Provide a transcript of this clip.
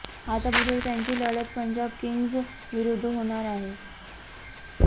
आता बुधवारी त्यांची लढत पंजाब किंग्ज विरुद्ध होणार आहे